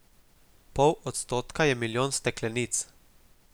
Pol odstotka je milijon steklenic.